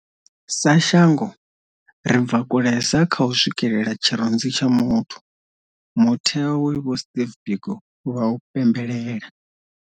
Sa shango, ri bva kulesa kha u swikelela tshirunzi tsha muthu, mutheo we vho Steve Biko vha u pembelela.